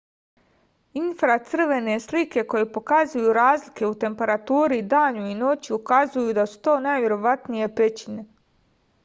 infracrvene slike koje pokazuju razlike u temperaturi danju i noću ukazuju da su to najverovatnije pećine